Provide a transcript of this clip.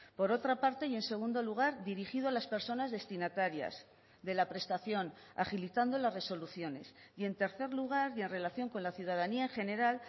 por otra parte y en segundo lugar dirigido a las personas destinatarias de la prestación agilizando las resoluciones y en tercer lugar y en relación con la ciudadanía en general